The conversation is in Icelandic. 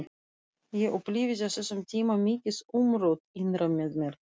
Ég upplifði á þessum tíma mikið umrót innra með mér.